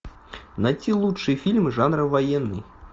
найти лучшие фильмы жанра военный